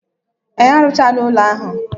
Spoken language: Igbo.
Ee, arụchaala ụlọ ahụ.